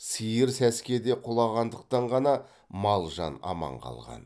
сиыр сәскеде құлағандықтан ғана мал жан аман қалған